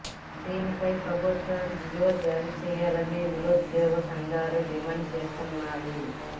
దీనిపై ప్రభుత్వం జీవో జారీ చేయాలని నిరుద్యోగ సంఘాలు డిమాండు చేస్తున్నాయి